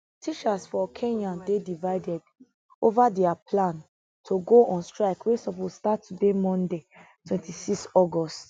teachers for kenya dey divided ova dia plan to go on strike wey suppose start today monday 26 august